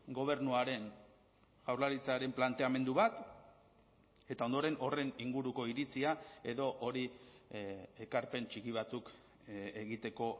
gobernuaren jaurlaritzaren planteamendu bat eta ondoren horren inguruko iritzia edo hori ekarpen txiki batzuk egiteko